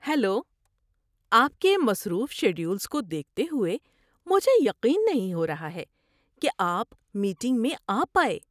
Hello! آپ کے مصروف شیڈولز کو دیکھتے ہوئے مجھے یقین نہیں ہو رہا ہے کہ آپ میٹنگ میں آ پائے!